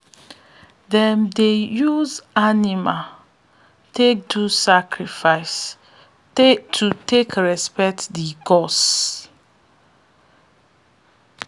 them dey use animal take do sacrifice to take respect the gods